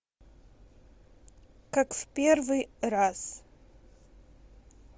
как в первый раз